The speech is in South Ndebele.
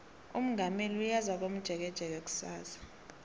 umongameli uyeza komjekejeke kusasa